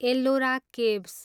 Ellora caves